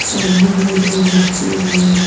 सामने में दो बच्चे भी हैं।